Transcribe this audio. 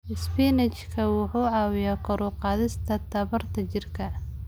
Isbinaashka wuxuu caawiyaa kor u qaadista tamarta jidhka.